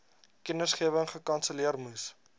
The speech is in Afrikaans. kennisgewing gekanselleer moes